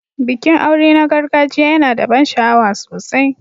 Bikin aure na gargajiya yana da ban sha'awa sosai.